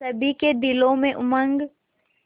सभी के दिलों में उमंग